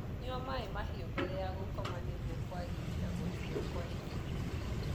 Nyua maĩ mahiu mbere ya gukoma nĩguo kuagirĩa guthio kwa irio